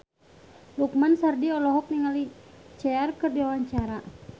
Lukman Sardi olohok ningali Cher keur diwawancara